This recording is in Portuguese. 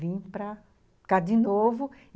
Vim para cá de novo.